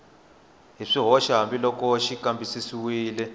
hi swihoxo hambiloko xi kambisisiwile